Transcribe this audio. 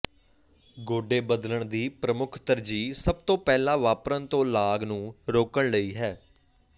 ਗੋਡੇ ਬਦਲਣ ਦੀ ਪ੍ਰਮੁੱਖ ਤਰਜੀਹ ਸਭ ਤੋਂ ਪਹਿਲਾਂ ਵਾਪਰਨ ਤੋਂ ਲਾਗ ਨੂੰ ਰੋਕਣ ਲਈ ਹੈ